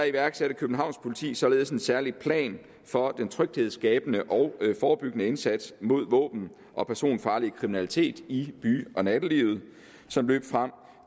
iværksatte københavns politi således en særlig plan for den tryghedsskabende og forebyggende indsats mod våben og personfarlig kriminalitet i by og nattelivet som løb frem